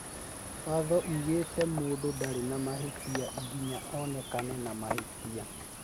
Watho ugĩte atĩ mũndũ ndarĩ na mahĩtia nginya onekane na mahĩtia